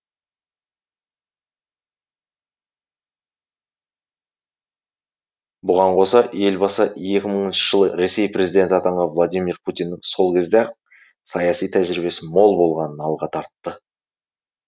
бұған қоса елбасы екі мыңыншы жылы ресей президенті атанған владимир путиннің сол кезде ақ саяси тәжірибесі мол болғанын алға тартты